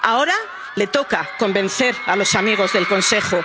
ciudadanía. Ahora le toca convencer a los amigos del